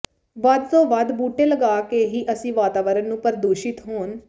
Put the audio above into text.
ਵੱਧ ਤੋਂ ਵੱਧ ਬੂਟੇ ਲਗਾ ਕੇ ਹੀ ਅਸੀਂ ਵਾਤਾਵਰਣ ਨੂੰ ਪ੍ਰਦੂਸ਼ਿਤ ਹੋਣ